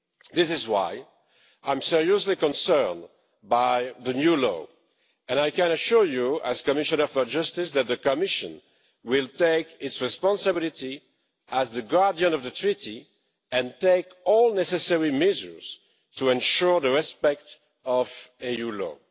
This is why I'm seriously concerned by the new law, and I can assure you, as Commissioner for Justice, that the Commission will take its responsibility as the Guardian of the Treaty and take all necessary measures to ensure the respect of EU law.